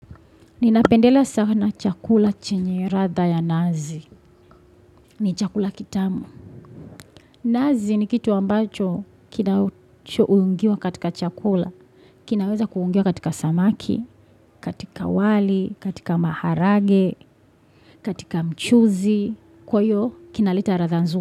Ninapendelea sana chakula chenye radha ya nazi. Ni chakula kitamu. Nazi ni kitu ambacho kina uungiwa katika chakula. Kinaweza kuungiwa katika samaki, katika wali, katika maharage, katika mchuzi. Kwa iyo kinaleta ratha nzu.